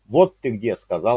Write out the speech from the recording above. вот ты где сказал